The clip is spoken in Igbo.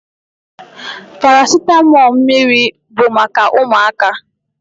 Paracitamọ mmiri bụ maka ụmụaka.